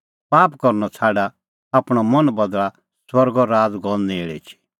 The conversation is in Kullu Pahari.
पाप करनअ छ़ाडा आपणअ मन बदल़ा स्वर्गो राज़ गअ नेल़ एछी